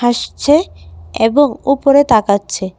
হাসছে এবং ওপরে তাকাচ্ছে।